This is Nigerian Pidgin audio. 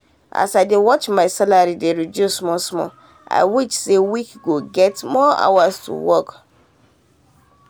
as i dey watch my salary dey reduce small small i wish say week go get more hours to work.